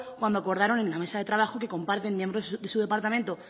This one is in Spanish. cuando acordaron en la mesa de trabajo que comparten miembros de su departamento